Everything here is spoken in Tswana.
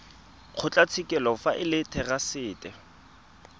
kgotlatshekelo fa e le therasete